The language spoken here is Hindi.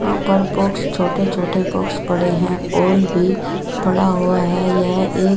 यहाँ पर बॉक्स छोटे-छोटे बॉक्स पड़े हैं ऑयल भी पड़ा हुआ है यह एक --